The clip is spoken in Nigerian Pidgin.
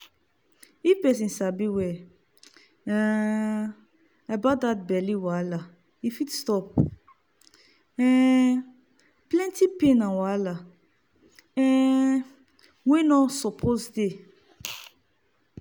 if people sabi well um about that belly wahala e fit stop um plenty pain and wahala um wey no suppose dey.